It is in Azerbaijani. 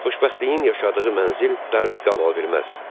Xoşbəxtliyin yaşadığı mənzil darısqal ola bilməz.